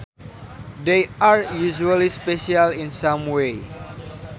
They are usually special in some way